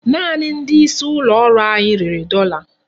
Naanị ndị isi ụlọ ọrụ anyị rere dọla.